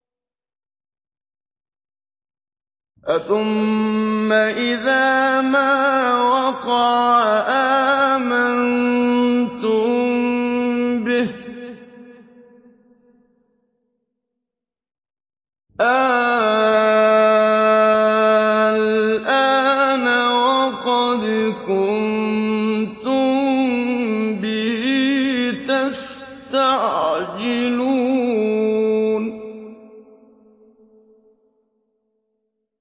أَثُمَّ إِذَا مَا وَقَعَ آمَنتُم بِهِ ۚ آلْآنَ وَقَدْ كُنتُم بِهِ تَسْتَعْجِلُونَ